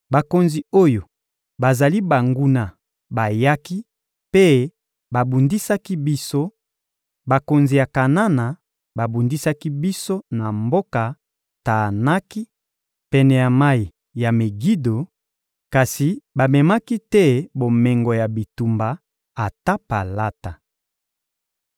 Bakonzi oyo bazali banguna bayaki mpe babundisaki biso; bakonzi ya Kanana babundisaki biso na mboka Taanaki, pene ya mayi ya Megido, kasi bamemaki te bomengo ya bitumba, ata palata.